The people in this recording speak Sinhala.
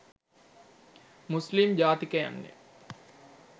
මුස්ලිම් ජාතිකයන්ය.